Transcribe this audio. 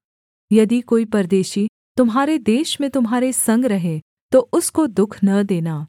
यदि कोई परदेशी तुम्हारे देश में तुम्हारे संग रहे तो उसको दुःख न देना